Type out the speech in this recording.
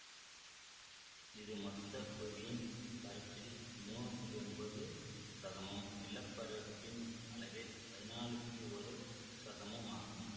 இது மொத்த புவியின் பரப்பில் மூனு புள்ளி ஒன்பது சதமும் நிலப்பரப்பின் அளவில் பதினாலு புள்ளி ஒரு சதமும் ஆகும்